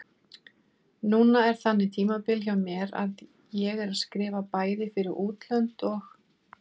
Núna er þannig tímabil hjá mér að ég er að skrifa bæði fyrir útlönd og